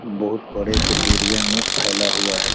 बहुत बड़े से एरिया में फैला हुआ है।